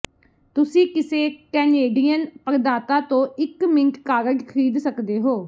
ਤੁਸੀਂ ਕਿਸੇ ਕੈਨੇਡੀਅਨ ਪ੍ਰਦਾਤਾ ਤੋਂ ਇੱਕ ਮਿੰਟ ਕਾਰਡ ਖਰੀਦ ਸਕਦੇ ਹੋ